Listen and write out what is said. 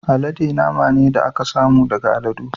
Alade nama ne da aka samu daga aladu.